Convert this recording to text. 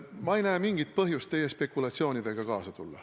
Ma ei näe mingit põhjus teie spekulatsioonidega kaasa tulla.